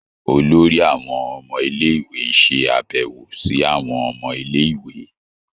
Olórí àwọn ọmọ ilé-ìwé ń ṣe àbẹ̀wò sí àwọn ọmọ ilé - ìwé.